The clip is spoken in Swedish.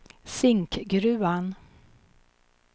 Zinkgruvan